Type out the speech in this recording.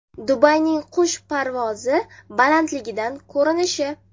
Dubayning qush parvozi balandligidan ko‘rinishi.